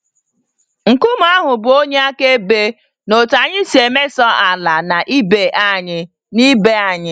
Nkume ahụ bụ onye akaebe n'otú anyị si emeso ala na ibe anyị. na ibe anyị.